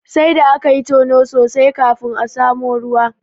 Sai da akayi tono sosai kafin aka samu ruwa.